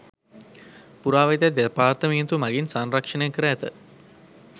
පුරාවිද්‍යා දෙපාර්තමේන්තුව මගින් සංරක්‍ෂණය කර ඇත.